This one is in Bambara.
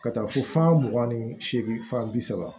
Ka taa fo fan mugan ni seegin fan bi saba